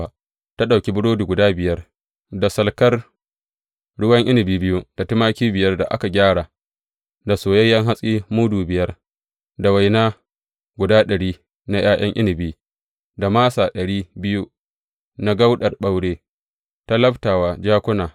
Ta ɗauki burodi guda ɗari biyu, da salkar ruwan inabi biyu da tumaki biyar da aka gyara, da soyayyen hatsi mudu biyar, da waina guda ɗari na ’ya’yan inabi, da masa ɗari biyu na kauɗar ɓaure ta labta wa jakuna.